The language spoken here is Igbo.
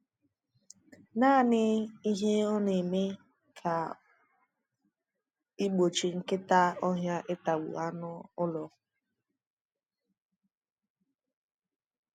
Nanị ihe ọ na-eme bụ igbochi nkịta ọhịa ịtagbu anụ ụlọ.